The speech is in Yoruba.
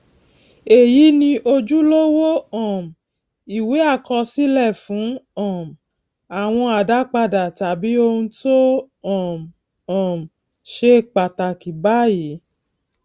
èyí ni ojúlówó um ìwé àkọsílè fún um àwọn àdápadà tàbí ohun tó um um ṣe pàtàkì báyìí